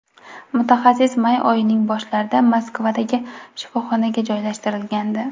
Mutaxassis may oyining boshlarida Moskvadagi shifoxonaga joylashtirilgandi.